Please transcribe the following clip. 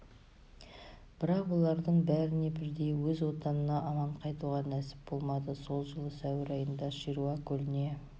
бірақ олардың бәріне бірдей өз отанына аман қайтуға нәсіп болмады сол жылы сәуір айында шируа көліне